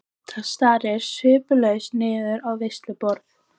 Edda starir sviplaus niður á veisluborð.